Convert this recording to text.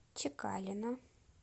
чекалина